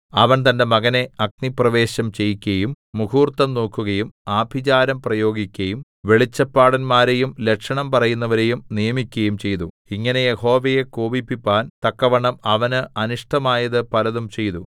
അവൻ തന്റെ മകനെ അഗ്നിപ്രവേശം ചെയ്യിക്കയും മുഹൂർത്തം നോക്കുകയും ആഭിചാരം പ്രയോഗിക്കയും വെളിച്ചപ്പാടന്മാരെയും ലക്ഷണം പറയുന്നവരെയും നിയമിക്കയും ചെയ്തു ഇങ്ങനെ യഹോവയെ കോപിപ്പിപ്പാൻ തക്കവണ്ണം അവന് അനിഷ്ടമായത് പലതും ചെയ്തു